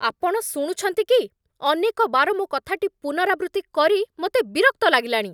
ଆପଣ ଶୁଣୁଛନ୍ତି କି? ଅନେକ ବାର ମୋ କଥାଟି ପୁନରାବୃତ୍ତି କରି ମୋତେ ବିରକ୍ତ ଲାଗିଲାଣି।